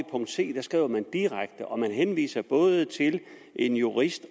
c skriver man direkte og man henviser både til en jurist